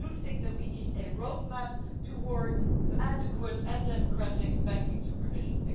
So I do think that we need a roadmap towards adequate and democratic banking supervision.